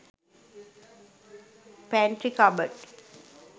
pantry cupboard